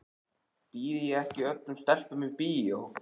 Býð ég ekki öllum stelpum í bíó?